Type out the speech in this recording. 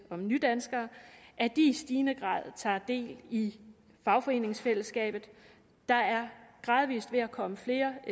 om nydanskere at de i stigende grad tager del i fagforeningsfællesskabet der er gradvis ved at komme flere